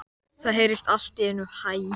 Það heyrðist allt í einu hæ.